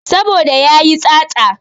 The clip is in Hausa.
Saboda yayi tsatsa